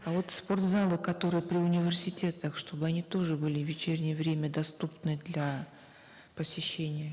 а вот спортзалы которые при университетах чтобы они тоже были в вечернее время доступны для посещения